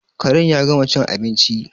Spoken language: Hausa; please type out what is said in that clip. Karen ya gama cin abinci